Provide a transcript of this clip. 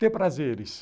Ter prazeres.